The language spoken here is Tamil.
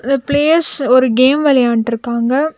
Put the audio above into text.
இந்த பிளேயர்ஸ் ஒரு கேம் வெளையாண்ட்ருக்காங்க.